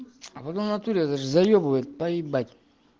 в натуре это же заебывает поебать